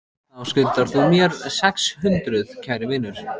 Þá skuldar þú mér sex hundruð, kæri vinur.